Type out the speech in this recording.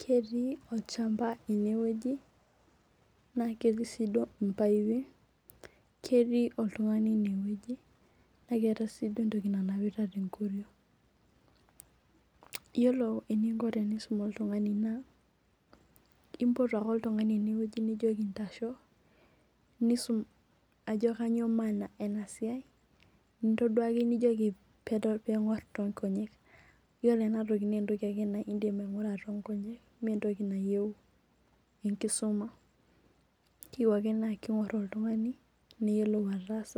Ketii olchamba enewueji na ketii si mpaipi ketii oltungani enewueji na keeta si entoki nanapita tenkoriong yiolo enikobtenisum oltungani na impot ake oltungani nijoki ntasho nisum ajo kanyio maana enasai nintaduaki nijoki pingur tonkonyek ore ena toki na entoki nindim aingura tonkonyek mentoki nayieu enkisuma keyieu ake ningor oltungani niyiolo ataas